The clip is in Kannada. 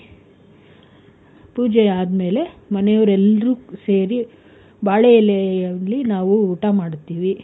ಪೂಜೆ ಆದ್ಮೇಲೆ ಮನೆಯವ್ರು ಎಲ್ರು ಸೇರಿ ಬಾಳೆ ಎಲೆಯಲ್ಲಿ ನಾವು ಊಟ ಮಾಡ್ತೀವಿ.